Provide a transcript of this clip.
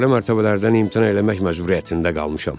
Yuxarı mərtəbələrdən imtina eləmək məcburiyyətində qalmışam.